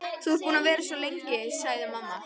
Þú ert búin að vera svo lengi, sagði mamma.